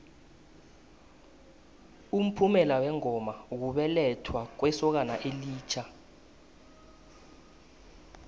umphumela wengoma kubelethwa kwesokana elitjha